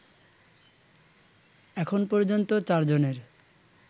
এখন পর্যন্ত ৪ জনের